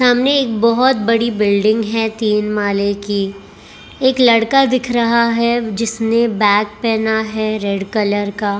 सामने एक बहोत बड़ी बिल्डिंग है तीन माले की एक लड़का दिख रहा है जिसने बैग पहना है रेड कलर का।